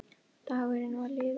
Dagurinn var liðinn.